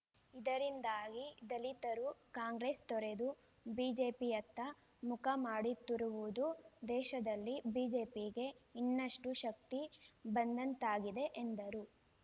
ಇದರಿಂದಾಗಿ ದಲಿತರು ಕಾಂಗ್ರೆಸ್‌ ತೊರೆದು ಬಿಜೆಪಿಯತ್ತ ಮುಖ ಮಾಡುತ್ತಿರುವುದು ದೇಶದಲ್ಲಿ ಬಿಜೆಪಿಗೆ ಇನ್ನಷ್ಟುಶಕ್ತಿ ಬಂದಂತಾಗಿದೆ ಎಂದರು